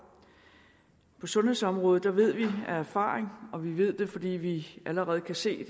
på sundhedsområdet ved vi af erfaring og vi ved det fordi vi allerede kan se